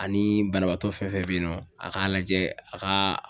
Ani banabaatɔ fɛn fɛn be yen nɔ a k'a lajɛ a kaa